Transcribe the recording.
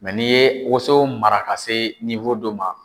Mɛ n'i ye woso mara ka se fɔ dɔ ma